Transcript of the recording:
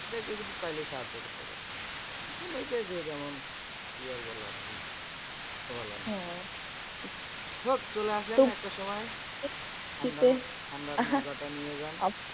ওরা কিন্তু চাইলে সাহায্য করতে পারবে। এখন ঐযে যে যেমন কি আর বলার? শোনালাম না চলে আসেন একটা সময় শীতের ঠান্ডাটা নিয়ে যান।